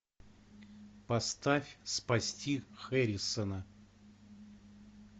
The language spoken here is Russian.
поставь спасти хэррисона